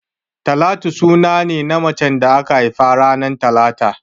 Talatu suna ne na macen da aka haifa ranar talata